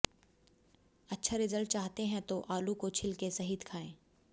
अच्छा रिजल्ट चाहते हैं तो आलू को छिलके सहित खाएं